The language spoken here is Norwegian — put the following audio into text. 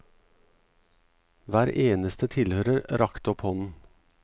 Hver eneste tilhører rakte opp hånden.